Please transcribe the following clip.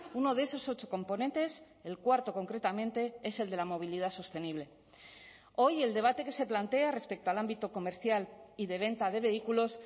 uno de esos ocho componentes el cuarto concretamente es el de la movilidad sostenible hoy el debate que se plantea respecto al ámbito comercial y de venta de vehículos